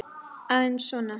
Aðeins svona.